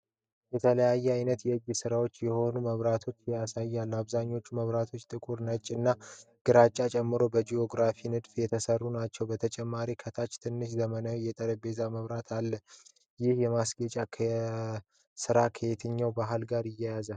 የተለያዩ አይነት የእጅ ስራ የሆኑ መብራቶችን ያሳያል። አብዛኞቹ መብራቶችጥቁር፣ ነጭ፣ እና ግራጫን ጨምሮ በጂኦሜትሪክ ንድፎች የተሰሩ ናቸው። በተጨማሪም ከታች ትናንሽ ዘመናዊ የጠረጴዛ መብራቶች አሉ። ይህ የማስጌጫ ስራ ከየትኛው ባህል ጋር ይያያዛል?